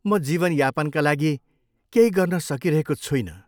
म जीवनयापनका लागि केही गर्न सकिरहेको छुइनँ।